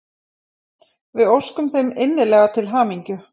Við óskum þeim innilega til hamingju!